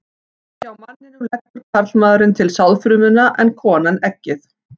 Hjá manninum leggur karlmaðurinn til sáðfrumuna en konan eggið.